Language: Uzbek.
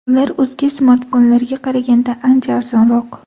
Ular o‘zga smartfonlarga qaraganda ancha arzonroq.